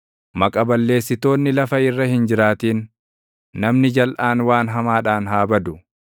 Maqa balleessitoonni lafa irra hin jiraatin; namni jalʼaan waan hamaadhaan haa badu.